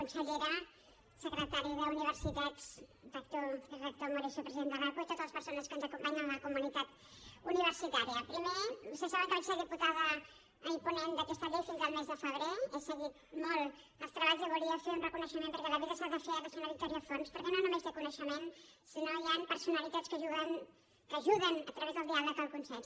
consellera secretari d’universitats rector moreso president de l’aqu i totes les persones que ens acompanyen de la comunitat universitària primer vostès saben que vaig ser diputada i ponent d’aquesta llei fins al mes de febrer he seguit molt els treballs i volia fer un reconeixement perquè a la vida s’ha de fer a la senyora victòria forns perquè no només té coneixements sinó que hi han personalitats que ajuden a través del diàleg al consens